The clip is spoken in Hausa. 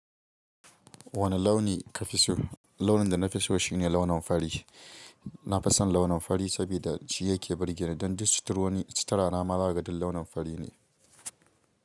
Wane launi ka fi so? Launin da na fi so shi ne launin fari. Na fi son launin fari saboda shiya ke burgewa don duk sutura na ma zakaga duk launin fari ne.